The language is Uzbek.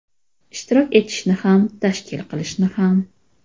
Ishtirok etishni ham, tashkil qilishni ham.